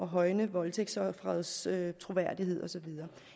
højne voldtægtsofferets troværdighed og så videre